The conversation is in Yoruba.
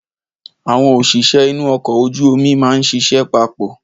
Àwọn òṣìṣẹ́ inú ọkọ̀ ojú omi máa ń ṣiṣẹ́ papọ̀.